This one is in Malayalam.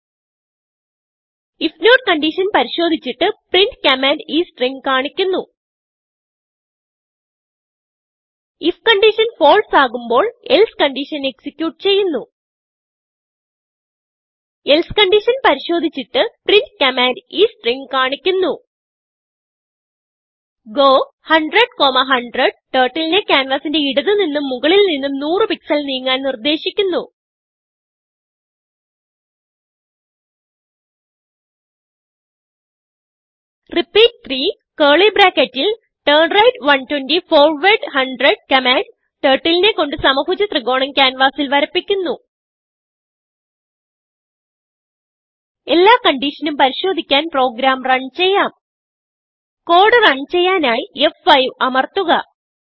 ഐഎഫ് നോട്ട് കൺഡിഷൻ പരിശോദിച്ചിട്ട് printകമാൻഡ് ഈ സ്ട്രിംഗ് കാണിക്കുന്നു ഐഎഫ് കൺഡിഷൻ ഫാൽസെ ആകുമ്പോൾ else കൺഡിഷൻ എക്സിക്യൂട്ട് ചെയ്യുന്നു elseകൺഡിഷൻ പരിശോദിച്ചിട്ട് printകമാൻഡ് ഈ സ്ട്രിംഗ് കാണിക്കുന്നു ഗോ 100100 turtleനെ ക്യാൻവാസിന്റെ ഇടത് നിന്നും മുകളിൽ നിന്നും 100പിക്സൽ നീങ്ങാൻ നിർദേശിക്കുന്നു റിപ്പീറ്റ് 3turnright 120 ഫോർവാർഡ് 100കമാൻഡ്turtleനെ കൊണ്ട് സമഭുജ ത്രികോണം ക്യാൻവാസിൽ വരപ്പിക്കുന്നു എല്ലാ കൺഡിഷനും പരിശോദിക്കാൻ പ്രോഗ്രാം റൺ ചെയ്യാം കോഡ് റൺ ചെയ്യാനായി ഫ്5 അമർത്തുക